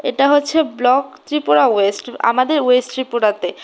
এটা হচ্ছে block Tripura west আমাদের ওয়েস্ট ত্রিপুরাতে।